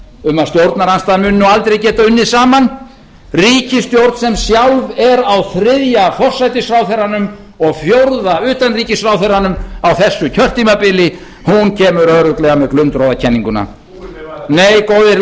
um að stjórnarandstaðan muni nú aldrei geta unnið saman ríkisstjórn sem sjálf er á þriðja forsætisráðherranum og fjórða utanríkisráðherranum á þessu kjörtímabili hún kemur örugglega með glundroðakenninguna nei góðir